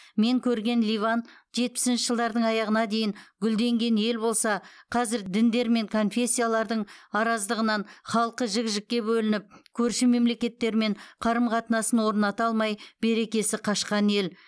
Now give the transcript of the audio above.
мен көрген ливан жетпісінші жылдардың аяғына дейін гүлденген ел болса қазір діндер мен конфессиялардың араздығынан халқы жік жікке бөлініп көрші мемлекеттермен қарым қатынасын орната алмай берекесі қашқан ел